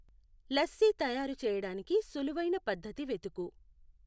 లస్సీ తయారు చేయడానికి సులువైన పద్ధతి వెతుకు